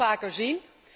We gaan dat vaker zien.